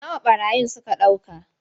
Nawa ɓarayin suka ɗauka.